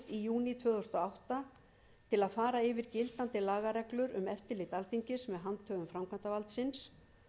í júní tvö þúsund og átta til að fara yfir gildandi lagareglur um eftirlit alþingis með handhöfum framkvæmdarvaldsins